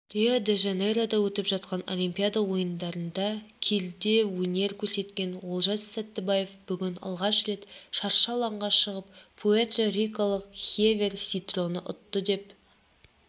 рио-де жанейрода өтіп жатқан олимпиада ойындарында келідеөнер көрсеткен олжас сәттібаев бүгін алғаш рет шаршы алаңға шығып пуэрто-рикалық хевьер синтроны ұтты деп